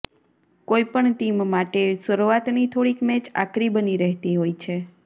કોઈપણ ટીમ માટે શરૂઆતની થોડીક મેચ આકરી બની રહેતી હોય છે